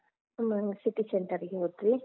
ಹ್ಮ್ ನಾವ್ city center ಗೆ ಹೋದ್ವಿ.